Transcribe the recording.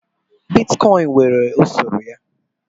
Bitkọịn nwere usoro ya.